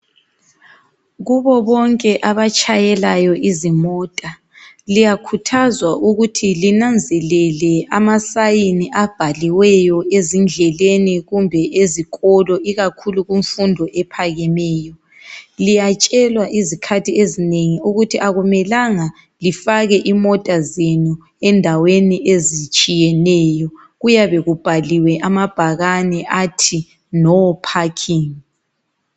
Kubo bonke abatshayelayo izimota liyakhuthazwa ukuthi linanzelele amasign abhaliweyo ezindleleni kumbe ezikolo ikakhulu kumfundo ephakemeyo. Liyatshelwa izikhathi ezinengi ukuthi akumelanga lifake imota zenu endaweni ezitshiyeneyo kuyabe kubhaliwe amabhakane athi no parking.